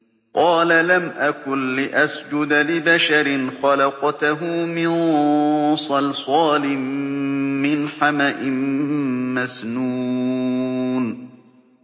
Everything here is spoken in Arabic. قَالَ لَمْ أَكُن لِّأَسْجُدَ لِبَشَرٍ خَلَقْتَهُ مِن صَلْصَالٍ مِّنْ حَمَإٍ مَّسْنُونٍ